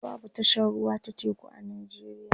a da babu tashar ruwa ta teku a nijeriya